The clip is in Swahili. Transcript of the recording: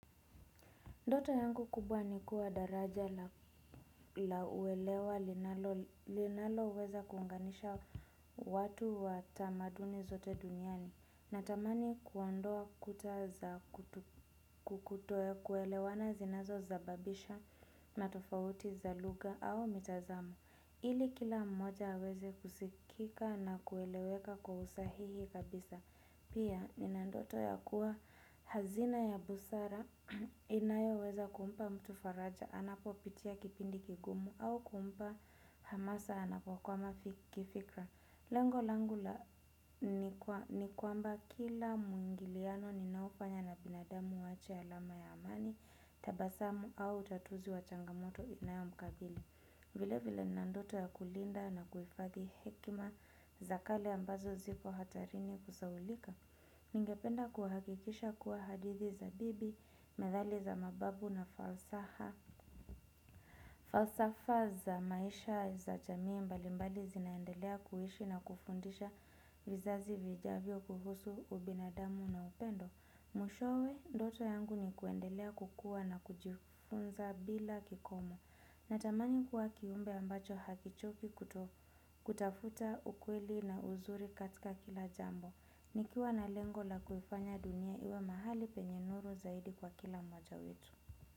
Ndoto yangu kubwa nikuwa daraja la uelewa linalo, linalo weza kuunganisha watu wa tamaduni zote duniani. Natamani kuondoa kuta za kutokuelewana zinazo zababisha matofauti za luga au mitazamo. Ili kila mmoja aweze kusikika na kueleweka kwausahihi kabisa. Pia nina ndoto ya kuwa hazina ya busara inayo weza kumpa mtu faraja, anapo pitia kipindi kigumu au kumpa hamasa anapo kwama kifikira. Lengo langa la ni kwamba kila mwingiliano ninaofanya na binadamu uwache alama ya amani, tabasamu au utatuzi wa changamoto inayo mkabili. Vile vile ninandoto ya kulinda na kuhifadhi hekima za kale ambazo ziko hatarini kusahulika. Ningependa kuhakikisha kuwa hadithi za bibi, methali za mababu na falsa za maisha za jamii mbali mbali zinaendelea kuishi na kufundisha vizazi vijavyo huhusu ubinadamu na upendo. Mwishowe ndoto yangu ni kuendelea kukuwa na kujifunza bila kikomo. Na tamani kuwa kiumbe ambacho hakichoki kutafuta ukweli na uzuri katika kila jambo. Nikiwa na lengo la kuifanya dunia iwe mahali penye nuru zaidi kwa kila mmoja wetu.